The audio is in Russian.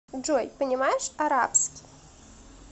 джой понимаешь арабский